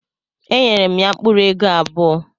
Enyere m ya mkpuru ego abuo